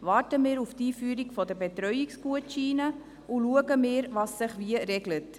Warten wir auf die Einführung der Betreuungsgutscheine, und schauen wir, was sich wie regelt.